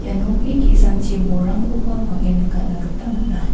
ia nokni ki·sangchi bolrangkoba bang·en nikatna gita man·a.